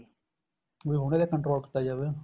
ਵੀ ਹੁਣ ਇਹਦੇ control ਕੀਤਾ ਜਾਵੇ